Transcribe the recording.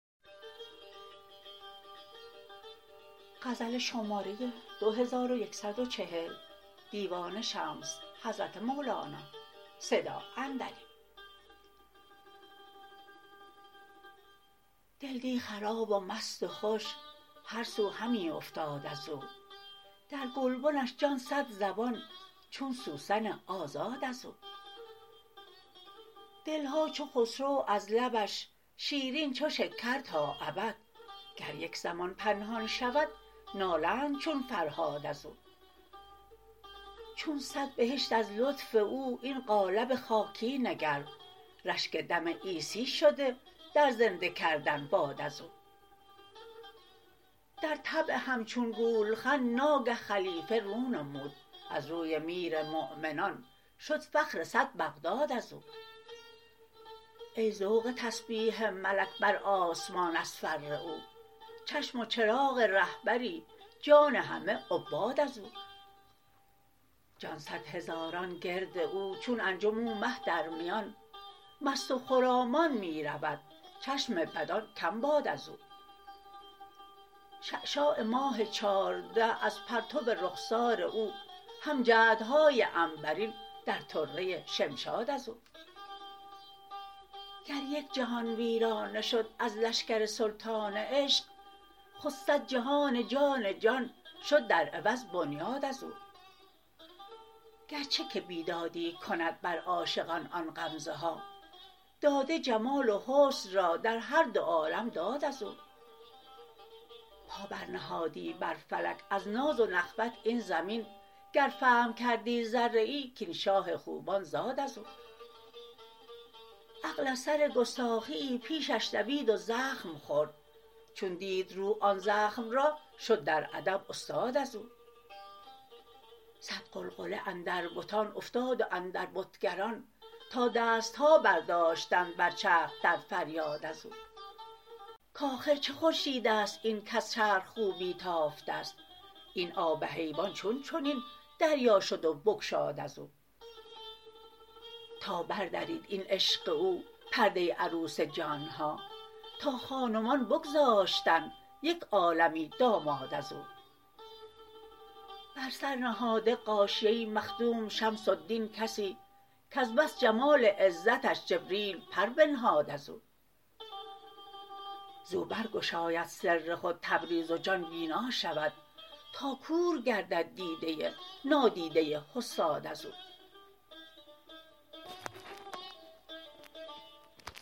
دل دی خراب و مست و خوش هر سو همی افتاد از او در گلبنش جان صدزبان چون سوسن آزاد از او دل ها چو خسرو از لبش شیرین چو شکر تا ابد گر یک زمان پنهان شود نالند چون فرهاد از او چون صد بهشت از لطف او این قالب خاکی نگر رشک دم عیسی شده در زنده کردن باد از او در طبع همچون گولخن ناگه خلیفه رو نمود از روی میر مؤمنان شد فخر صد بغداد از او ای ذوق تسبیح ملک بر آسمان از فر او چشم و چراغ رهبری جان همه عباد از او جان صد هزاران گرد او چون انجم او مه در میان مست و خرامان می رود چشم بدان کم باد از او شعشاع ماه چارده از پرتو رخسار او هم جعدهای عنبرین در طره شمشاد از او گر یک جهان ویرانه شد از لشکر سلطان عشق خود صد جهان جان جان شد در عوض بنیاد از او گرچه که بیدادی کند بر عاشقان آن غمزه ها داده جمال و حسن را در هر دو عالم داد از او پا برنهادی بر فلک از ناز و نخوت این زمین گر فهم کردی ذره ای کاین شاه خوبان زاد از او عقل از سر گستاخیی پیشش دوید و زخم خورد چون دید روح آن زخم را شد در ادب استاد از او صد غلغله اندر بتان افتاد و اندر بتگران تا دست ها برداشتند بر چرخ در فریاد از او کآخر چه خورشید است این کز چرخ خوبی تافته ست این آب حیوان چون چنین دریا شد و بگشاد از او تا بردرید این عشق او پرده عروس جان ها تا خان و مان بگذاشتند یک عالمی داماد از او بر سر نهاده غاشیه مخدوم شمس الدین کسی کز بس جمال عزتش جبریل پر بنهاد از او زو برگشاید سر خود تبریز و جان بینا شود تا کور گردد دیده نادیده حساد از او